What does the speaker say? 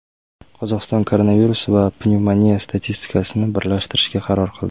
Qozog‘iston koronavirus va pnevmoniya statistikasini birlashtirishga qaror qildi.